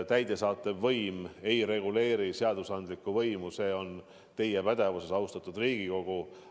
Täidesaatev võim ei reguleeri seadusandlikku võimu, see on teie pädevuses, austatud Riigikogu.